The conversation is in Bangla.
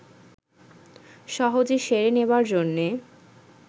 সহজে সেরে নেবার জন্যে